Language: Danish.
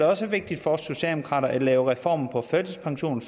også vigtigt for os socialdemokrater at lave reformer for førtidspension